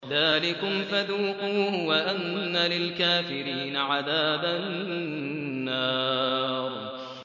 ذَٰلِكُمْ فَذُوقُوهُ وَأَنَّ لِلْكَافِرِينَ عَذَابَ النَّارِ